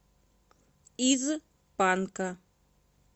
из панка